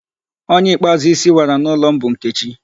Onye ikpeazụ isi wara n'ụlọ m bụ Nkechi